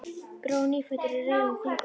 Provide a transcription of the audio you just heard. Brói nýfæddur í reifum á Þingvöllum.